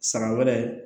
San wɛrɛ